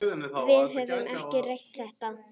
Við höfum ekki rætt þetta.